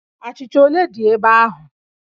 Achịcha ole dị ebe ahụ?